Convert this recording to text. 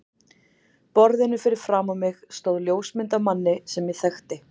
borðinu fyrir framan mig stóð ljósmynd af manni sem ég þekkti.